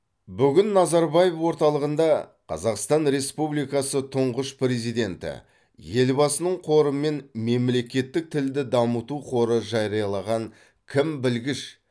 бүгін назарбаев орталығында қазақстан республикасы тұңғыш президенті елбасының қоры мен мемлекеттік тілді дамыту қоры жариялаған кім білгіш